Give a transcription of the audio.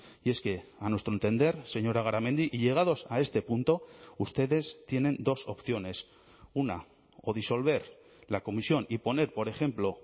y es que a nuestro entender señora garamendi y llegados a este punto ustedes tienen dos opciones una o disolver la comisión y poner por ejemplo